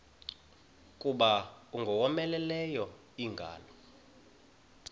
kuza ingowomeleleyo ingalo